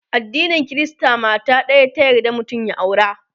addinin Krista mata ɗaya ta yarda mutum ya aura